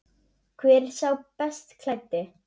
Hver er sá best klæddi?